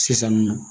Sisan nɔ